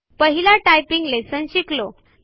आपण पहिला typing lesson शिकलो